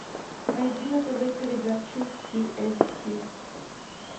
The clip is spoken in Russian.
найди на тв передачу ти эль си